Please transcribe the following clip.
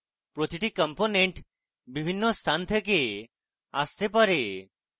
প্রতিটি component বিভিন্ন স্থান থেকে আসতে পারে